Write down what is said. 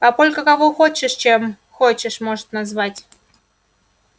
папулька кого хочешь чем хочешь может назвать